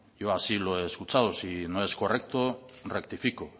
yo así lo he escuchado si no es correcto rectifico